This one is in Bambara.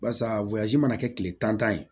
Barisa mana kɛ kile tan ye